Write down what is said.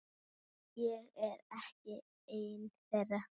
Ég er ekki ein þeirra.